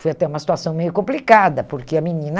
Foi até uma situação meio complicada, porque a menina...